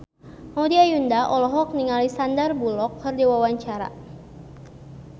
Maudy Ayunda olohok ningali Sandar Bullock keur diwawancara